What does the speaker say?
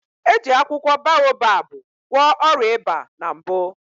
Eji akwụkwọ boababụ gwọ ọrịa ịba na mbụ